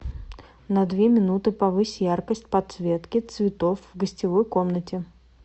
на две минуты повысь яркость подсветки цветов в гостевой комнате